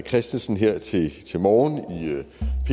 christensen her til til morgen